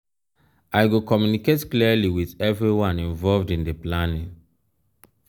um i go communicate clearly with everyone involved in di planning.